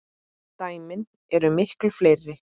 Dæmin eru miklu fleiri.